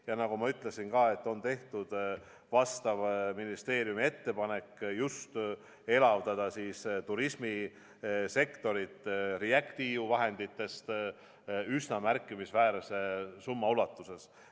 Ja nagu ma ütlesin, on tehtud vastava ministeeriumi ettepanek elavdada turismisektorit just REACT-EU vahenditest üsna märkimisväärse summa ulatuses.